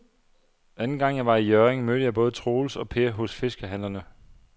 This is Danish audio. Anden gang jeg var i Hjørring, mødte jeg både Troels og Per hos fiskehandlerne.